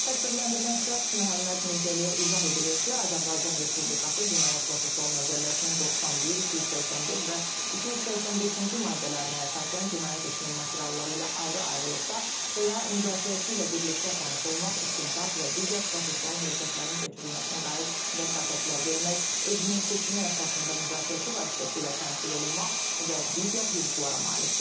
Təqsirləndirilən şəxs Məhəmməd Mirzəliyə izah edilir ki, Azərbaycan Respublikası Cinayət Prosessual Məcəlləsinin 91, 284 və 285-ci maddələrinə əsasən cinayət işinin materialları ilə ayrı-ayrılıqda və ya müdafiəçi ilə birlikdə tanış olmaq, istintaq və digər prosessual hərəkətlərin keçirilməsinə dair vəsatətlər vermək, özünün seçimi əsasında müdafiəçi vasitəsilə təmsil olunmaq və digər hüquqlara malikdir.